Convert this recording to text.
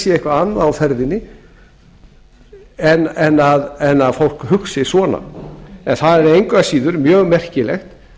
að hér sé eitthvað annað á ferðinni en að fólk hugsi svona það er engu að síður mjög merkilegt